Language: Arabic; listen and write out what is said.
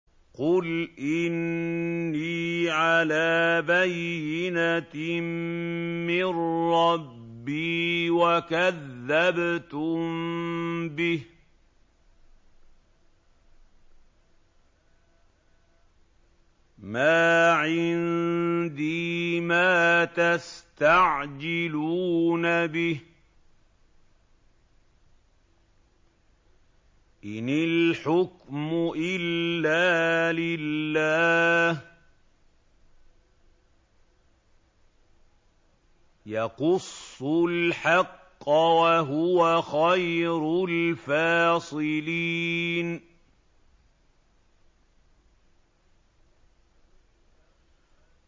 قُلْ إِنِّي عَلَىٰ بَيِّنَةٍ مِّن رَّبِّي وَكَذَّبْتُم بِهِ ۚ مَا عِندِي مَا تَسْتَعْجِلُونَ بِهِ ۚ إِنِ الْحُكْمُ إِلَّا لِلَّهِ ۖ يَقُصُّ الْحَقَّ ۖ وَهُوَ خَيْرُ الْفَاصِلِينَ